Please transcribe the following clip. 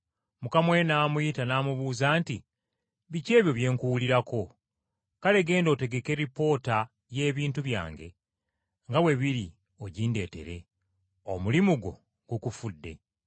Mukama we n’amuyita n’amubuuza nti, ‘Biki ebyo bye nkuwulirako? Kale genda otegeke lipoota y’ebintu byange nga bwe biri ogindeetere. Omulimu gukufudde.’